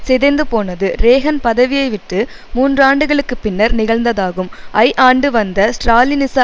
சிதைந்து போனது றேகன் பதவியைவிட்டு மூன்றாண்டுகளுக்கு பின்னர் நிகழ்ந்ததாகும் ஐ ஆண்டுவந்த ஸ்ராலினிச